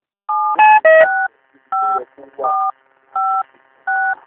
tẹsán ọlọ́pàá ló mórí lé bó ṣe ń gúnlẹ̀ láti lọ́ọ́ fi ìṣẹ̀lẹ̀ um kàyéfì ohun tó wọn um létí